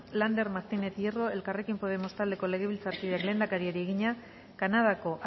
lander martínez hierro elkarrekin podemos taldeko legebiltzarkideak lehendakariari egina kanadako